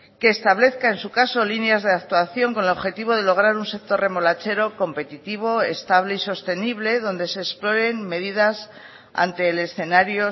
que establezca en su caso líneas de actuación con el objetivo de lograr un sector remolachero competitivo estable y sostenible donde se exploren medidas ante el escenario